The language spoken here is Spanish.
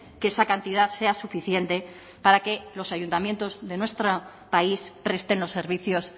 que esa cantidad sea suficiente para que los ayuntamientos de nuestro país presten los servicios